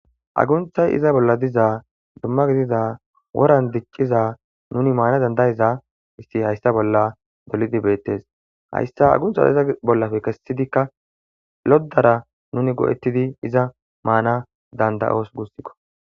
Agunthay iza bolla diza dumma gidiza woran dicciza nuni maana dandayiza issi hayssa bolla dolidi beettes hayssa aguntha iza bollafe kessidikka loddara nuni go'ettidi iza maana dandayoos gussikko.